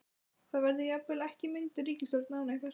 Það verði jafnvel ekki mynduð ríkisstjórn án ykkar?